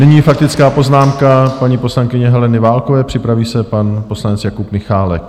Nyní faktická poznámka paní poslankyně Heleny Válkové, připraví se pan poslanec Jakub Michálek.